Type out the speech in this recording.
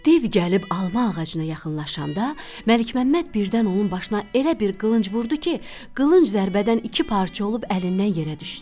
Div gəlib alma ağacına yaxınlaşanda Məlikməmməd birdən onun başına elə bir qılınc vurdu ki, qılınc zərbədən iki parça olub əlindən yerə düşdü.